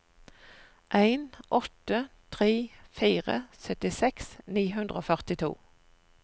en åtte tre fire syttiseks ni hundre og førtito